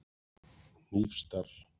Hnífsdal